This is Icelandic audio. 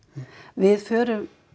við förum